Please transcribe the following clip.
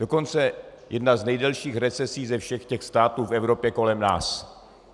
Dokonce jedna z nejdelších recesí ze všech těch států v Evropě kolem nás.